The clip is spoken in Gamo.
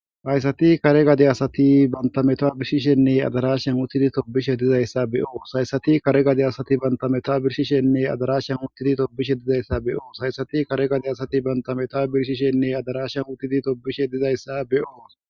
hayssati kare gade asati banta metaa birshishenne adarashan utidi tobishe dizayssa beyoos hayssati kare gade asati banta meta birshishenne adarashshan uttidi tobishe dizayssa beyoos hayssati kare gade asati banta metaw birshishenne adarashshan utidi tobishe dizayssa beyoos